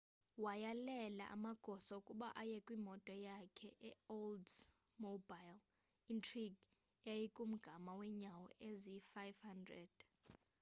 wayalela amagosa ukuba aye kwimoto yakhe eyi-oldsmobile intrigue eyaykumgama weenyawo eziyi-500